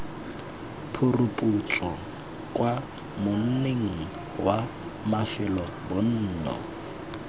phuruphutso kwa monning wa mafelobonno